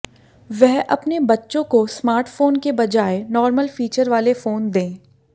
वह अपने बच्चों को स्मार्टफोन के बजाय नॉर्मल फीचर वाले फोन दें